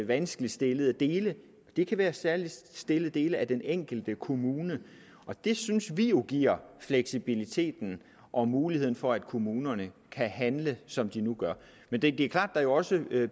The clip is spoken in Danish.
vanskeligt stillede dele det kan være særligt stillede dele af den enkelte kommune det synes vi jo giver fleksibiliteten og muligheden for at kommunerne kan handle som de nu gør men det er klart at der jo også